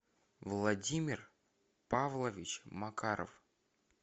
владимир павлович макаров